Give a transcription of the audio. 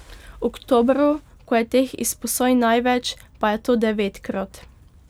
V oktobru, ko je teh izposoj največ, pa je to devetkrat.